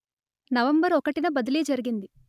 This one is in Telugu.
నవంబర్ ఒకటిన బదిలీ జరిగింది